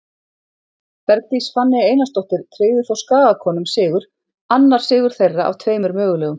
Bergdís Fanney Einarsdóttir tryggði þó Skagakonum sigur, annar sigur þeirra af tveimur mögulegum.